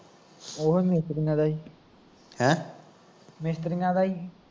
ਓਹੀ ਮਿਸਤਰੀਆਂ ਦਾ ਈ ਮਿਸਤਰੀਆਂ ਦਾ ਈ